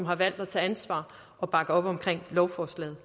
har valgt at tage ansvar og bakke op om lovforslaget